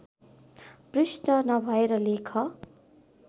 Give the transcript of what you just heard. पृष्ठ नभएर लेख